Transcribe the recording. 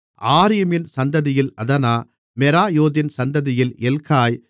ஆரீமின் சந்ததியில் அதனா மெராயோதின் சந்ததியில் எல்காய்